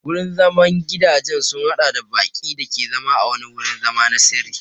Gurin zaman gidajen sun haɗa da baƙi da ke zama a wani wurin zama na sirri.